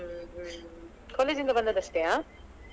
ಹ್ಮ್ ಹ್ಮ್ college ಇಂದ ಬಂದದ್ದಷ್ಟೆಯಾ?